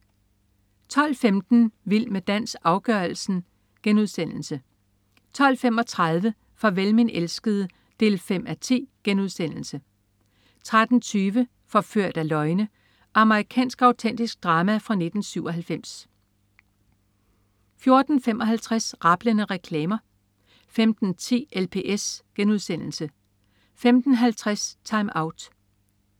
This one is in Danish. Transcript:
12.15 Vild med dans, afgørelsen* 12.35 Farvel min elskede 5:10* 13.20 Forført af løgne. Amerikansk autentisk drama fra 1997 14.55 Rablende reklamer 15.10 LPS* 15.50 TimeOut